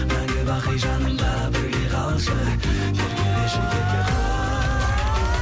мәңгі бақи жанымда бірге қалшы еркелеші ерке қыз